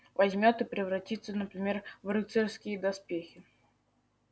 возьмёт и превратится например в рыцарские доспехи